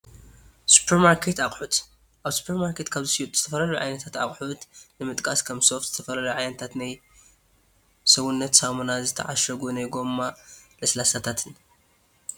ሱፐርማርኬት ኣቑሑት ፡- ኣብ ሱፐርማርኬት ካብ ዝሽየጡ ዝተፈላለዩ ዓይነታ ኣቑሑት ንምጥቃስ ከም ሶፍት፣ ዝተፈላለዩ ዓይነታት ናይ ሰውነት ሳሙና ዝተዓሸጉ ናይ ጎማ ለስላሳታትን፡፡